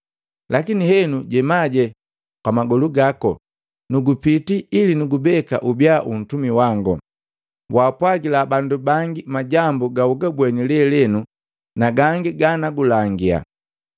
Lakini henu, jemaje kwa magolu gako. Nukupiti ili nukubeka ubia untumi wango. Waapwagila bandu bangi majambu gaugabweni lelenu na gangi ganakulangia.